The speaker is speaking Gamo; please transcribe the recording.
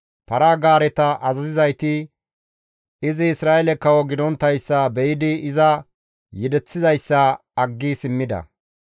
Para-gaareta azazizayti izi Isra7eele kawo gidonttayssa be7idi iza yedeththizayssa aggi simmida.